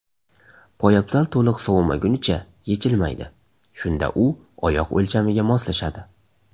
Poyabzal to‘liq sovimagunicha yechilmaydi, shunda u oyoq o‘lchamiga moslashadi.